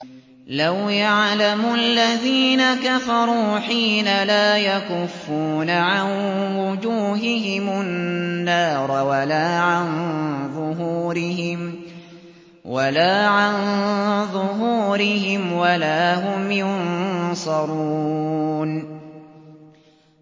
لَوْ يَعْلَمُ الَّذِينَ كَفَرُوا حِينَ لَا يَكُفُّونَ عَن وُجُوهِهِمُ النَّارَ وَلَا عَن ظُهُورِهِمْ وَلَا هُمْ يُنصَرُونَ